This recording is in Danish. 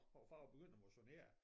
Over far var begyndt at motionere